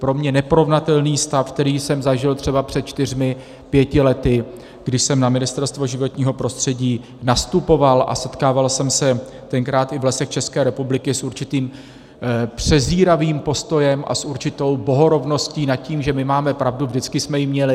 Pro mě neporovnatelný stav, který jsem zažil třeba před čtyřmi pěti lety, když jsem na Ministerstvo životního prostředí nastupoval a setkával jsem se tenkrát i v Lesích České republiky s určitým přezíravým postojem a s určitou bohorovností nad tím, že my máme pravdu, vždycky jsme ji měli.